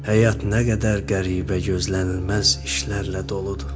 Həyat nə qədər qəribə, gözlənilməz işlərlə doludur.